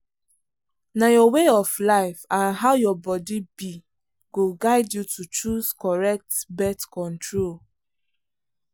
na your way of life and how your body be go guide you to choose correct birth control.